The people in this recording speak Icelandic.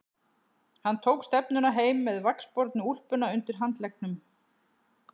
Hann tók stefnuna heim með vaxbornu úlpuna undir handleggnum.